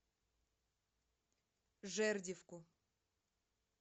жердевку